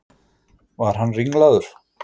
Var hann ringlaður?